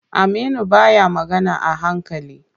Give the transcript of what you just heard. Aminu baya magana a hankali.